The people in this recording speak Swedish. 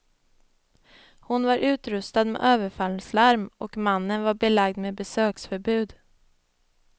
Hon var utrustad med överfallslarm och mannen var belagd med besöksförbud.